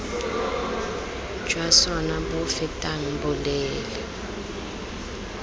jwa sona bo fetang boleele